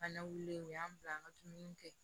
An na wuli u y'an bila an ka dumuni kɛ